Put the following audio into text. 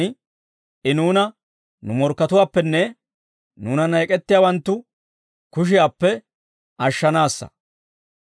I nuuna, nu morkkatuwaappenne, nuunanna ek'ettiyaawanttu kushiyaappe ashshanaassa.